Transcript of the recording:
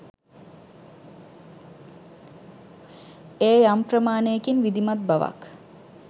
එය යම් ප්‍රමාණයකින් විධිමත් බවක්